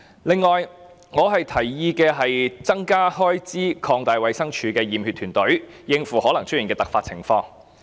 此外，我建議增加開支以擴大衞生署的驗血團隊，應付可能出現的突發情況。